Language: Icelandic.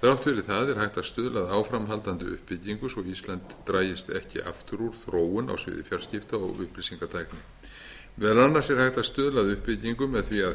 þrátt fyrir það er hægt að stuðla að áframhaldandi uppbyggingu svo ísland dragist ekki aftur úr þróun á sviði fjarskipta og upplýsingatækni meðal annars er hægt að stuðla að uppbyggingu með því að